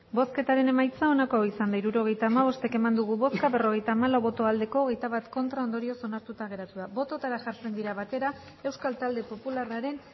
hirurogeita hamabost eman dugu bozka berrogeita hamalau bai hogeita bat ez ondorioz onartuta geratu da bototara jartzen dira batera euskal talde popularraren